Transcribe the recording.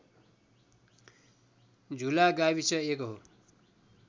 झुला गाविस एक हो